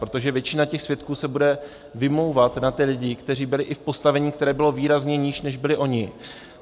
Protože většina těch svědků se bude vymlouvat na ty lidi, kteří byli i v postavení, které bylo výrazně níž, než byli oni.